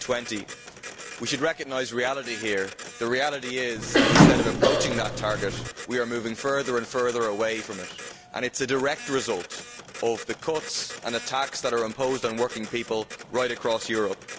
2020. We should recognise reality here the reality is that instead of approaching that target, we are moving further and further away from it, and it is a direct result of the cuts and attacks that are imposed on working people right across Europe.